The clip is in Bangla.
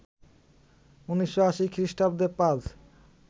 ১৯৮০ খ্রিস্টাব্দে পাজ